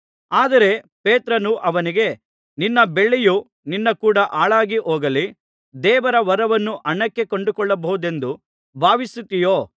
ಆದರೆ ಪೇತ್ರನು ಅವನಿಗೆ ನಿನ್ನ ಬೆಳ್ಳಿಯು ನಿನ್ನ ಕೂಡ ಹಾಳಾಗಿಹೋಗಲಿ ದೇವರ ವರವನ್ನು ಹಣಕ್ಕೆ ಕೊಂಡುಕೊಳ್ಳಬಹುದೆಂದು ಭಾವಿಸುತ್ತೀಯೋ